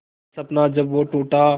हर सपना जब वो टूटा